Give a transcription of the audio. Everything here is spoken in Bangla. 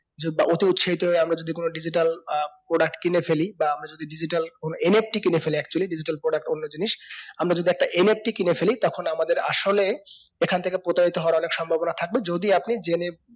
বা অতি উৎসাহিত হয়ে আমরা যদি কোনো digital আহ product কিনে ফেলি বা আমরা যদি digital কোনো NFT কিনে ফেলি actually digital product অন্য জিনিস আমরা যদি একটা NFT কিনে ফেলি তখন আমাদের আসলে এখানথেকে প্রতারণা হবার অনেক সম্ভবনা থাকবে যদি আপনি জেনে